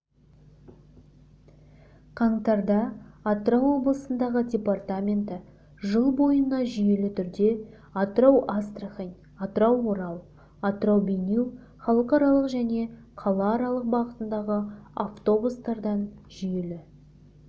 қаңтарда атырау облысындағы департаменті жыл бойына жүйелі түрде атырау-астрахань атырау-орал атырау-бейнеу халықаралық және қалааралық бағытындағы автобустардан жүйелі